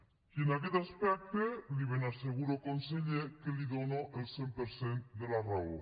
i en aquest aspecte li ben asseguro conseller que li dono el cent per cent de la raó